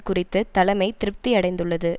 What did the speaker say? குறித்து தலைமை திருப்தியடைந்துள்ளது